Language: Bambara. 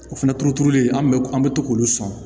O fɛnɛ turuturulen an bɛ an bɛ to k'olu sɔn